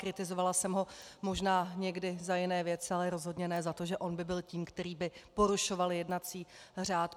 Kritizovala jsem ho možná někdy za jiné věci, ale rozhodně ne za to, že on by byl tím, který by porušoval jednací řád.